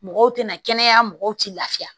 Mɔgɔw tɛ na kɛnɛya mɔgɔw tɛ lafiya